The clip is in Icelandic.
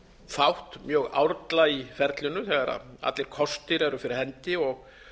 þátt mjög árla í ferlinu þegar allir kostir eru fyrir hendi og